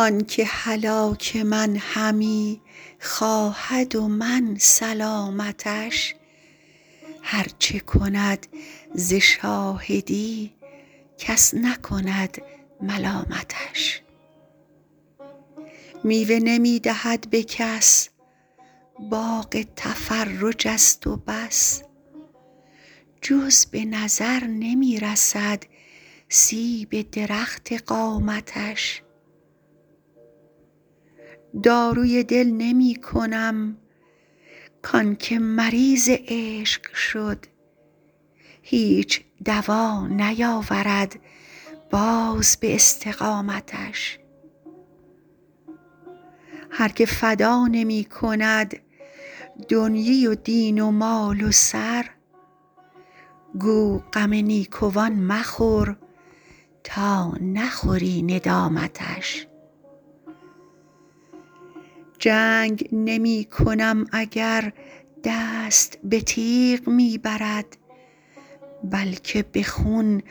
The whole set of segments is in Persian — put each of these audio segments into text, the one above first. آن که هلاک من همی خواهد و من سلامتش هر چه کند ز شاهدی کس نکند ملامتش میوه نمی دهد به کس باغ تفرج است و بس جز به نظر نمی رسد سیب درخت قامتش داروی دل نمی کنم کان که مریض عشق شد هیچ دوا نیاورد باز به استقامتش هر که فدا نمی کند دنیی و دین و مال و سر گو غم نیکوان مخور تا نخوری ندامتش جنگ نمی کنم اگر دست به تیغ می برد بلکه به خون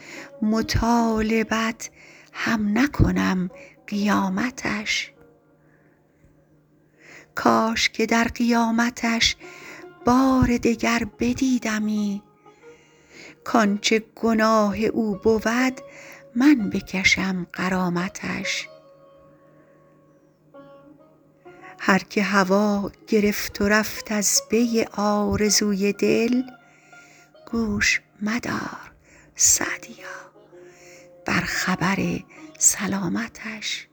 مطالبت هم نکنم قیامتش کاش که در قیامتش بار دگر بدیدمی کانچه گناه او بود من بکشم غرامتش هر که هوا گرفت و رفت از پی آرزوی دل گوش مدار _سعدیا- بر خبر سلامتش